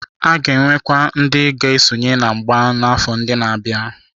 A ga-enwekwu ndị ga-esonye n'ịgba mgba n'afọ ndị na-abịa.